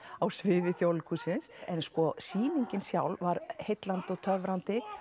á sviði Þjóðleikhússins en sko sýningin sjálf var heillandi og töfrandi